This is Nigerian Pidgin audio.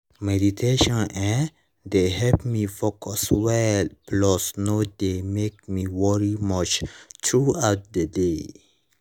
meditation[um]dey help me focus well plus no dey make me worry much throughout the day